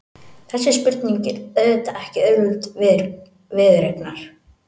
Þessi spurning er auðvitað ekki auðveld viðureignar.